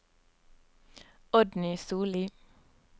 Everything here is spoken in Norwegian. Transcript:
Oddny Solli